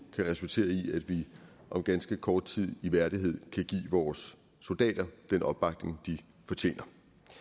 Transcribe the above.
kan resultere i at vi om ganske kort tid i værdighed kan give vores soldater den opbakning de fortjener